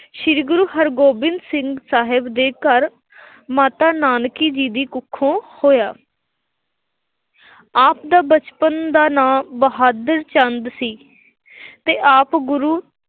ਸ੍ਰੀ ਗੁਰੂ ਹਰਗੋਬਿੰਦ ਸਿੰਘ ਸਾਹਿਬ ਜੀ ਦੇ ਘਰ ਮਾਤਾ ਨਾਨਕੀ ਜੀ ਦੀ ਕੁੱਖੋਂ ਹੋਇਆ। ਆਪ ਦਾ ਬਚਪਨ ਦਾ ਨਾਂ ਬਹਾਦਰ ਚੰਦ ਸੀ ਅਤੇ ਆਪ ਗੁਰੂ